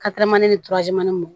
ni m